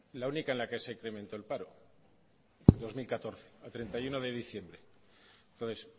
la única en la que se incrementó el paro dos mil catorce a treinta y uno de diciembre entonces